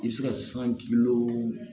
I bɛ se ka san